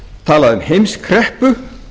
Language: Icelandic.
talaði um heimskreppu